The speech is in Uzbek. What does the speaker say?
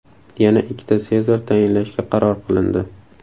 Yana ikkita Sezar tayinlashga qaror qilindi.